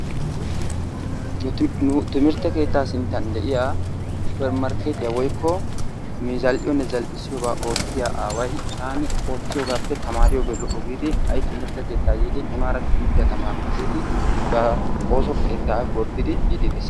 nu timmirte keetta sinttan diya supermarkeetee woykko zal'iyonne zal'issioyobaa oottiiya aaway aani oottiyogaappe tamaariyogee lo'o giidi ha'i nunara yiidi timirtiya tamaarana giidi ba ooso keetaa gordiidi des.